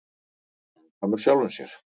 Samkvæmur sjálfum sér.